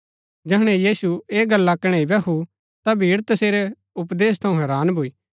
जैहणै यीशु ऐह गल्ला कणैई बैहु ता भीड़ तसेरै उपदेश थऊँ हैरान भूई